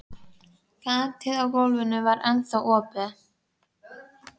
gatið í gólfinu var ennþá opið.